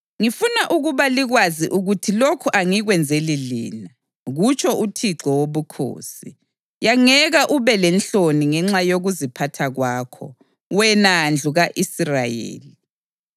Ngifuna ukuba likwazi ukuthi lokhu angikwenzeli lina, kutsho uThixo Wobukhosi. Yangeka ube lenhloni ngenxa yokuziphatha kwakho, wena ndlu ka-Israyeli!